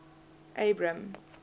abram